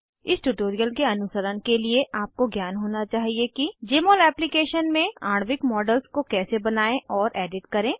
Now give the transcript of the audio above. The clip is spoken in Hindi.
इस ट्यूटोरियल के अनुसरण के लिए आपको ज्ञान होना चाहिए कि जमोल एप्लीकेशन में आणविक मॉडल्स को कैसे बनायें और एडिट करें